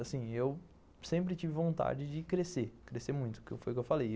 Assim, eu sempre tive vontade de crescer, crescer muito, que foi o que eu falei.